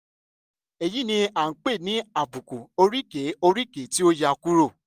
èyí ni a ń pè ní àbùkù oríkèé oríkèé tí ó yà kúrò